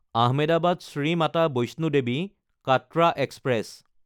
আহমেদাবাদ–শ্ৰী Mata Vaishno Devi Katra express